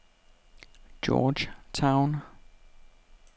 Georgetown